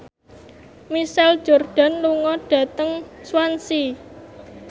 Michael Jordan lunga dhateng Swansea